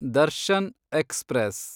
Darshan express